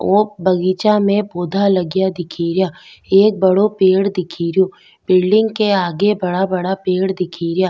ओ बगीचा में पौधा लगेया दिख रा एक बड़ो पेड़ दिख रो बिलडिंग के आगे बड़ा बड़ा पेड़ दिख रा।